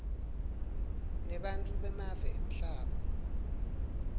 nebantfu bemave emhlaba